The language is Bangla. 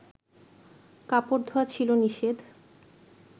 কাপড় ধোয়া ছিল নিষেধ